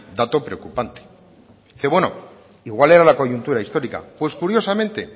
dato preocupante dice bueno igual era la coyuntura histórica pues curiosamente